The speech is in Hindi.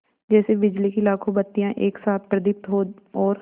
जैसे बिजली की लाखों बत्तियाँ एक साथ प्रदीप्त हों और